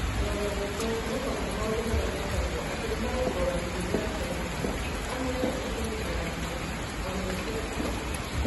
Na o na gũkũ, kwĩhoka mũno maũndũ marĩa metagwo atĩ nĩ marongoragia nĩ arutani na arutwo amwe nĩ kũniinaga gĩkeno, na gũthũkia igongona.